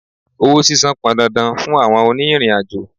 Owó sísan pọn dandan fún àwọn òní ìrìn àjò.